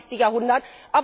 21. Jahrhundert.